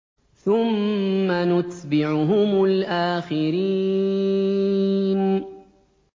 ثُمَّ نُتْبِعُهُمُ الْآخِرِينَ